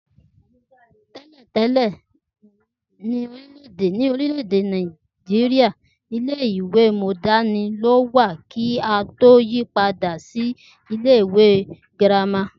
Té̩lè̩ té̩lè̩ ní orílè̩-èdè Nàìjíríà, ilé-ìwé mó̩dáànì ló wà kí a tó yí i padà sí ilé-ìwé girama.